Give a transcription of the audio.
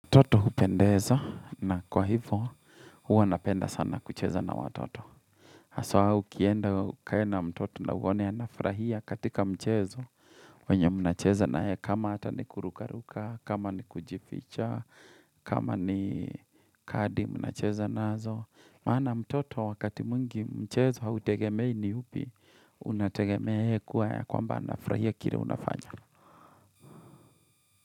Mtoto hupendeza na kwa hivo huwa napenda sana kucheza na watoto. Haswa ukienda ukae na mtoto na uwone anafurahia katika mchezo. Wenye mnacheza nayeye kama hata ni kurukaruka, kama ni kujificha, kama ni kadi mnacheza na zo. Maana mtoto wakati mwingi mchezo hautegemei ni hupi unategemei kuwa ya kwamba anafurahia kile unafanya.